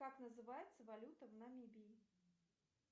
как называется валюта в намибии